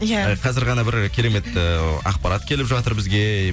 иә қазір ғана бір керемет ііі ақпарат келіп жатыр бізге